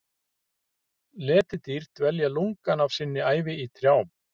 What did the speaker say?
Letidýr dvelja lungann af sinni ævi í trjám.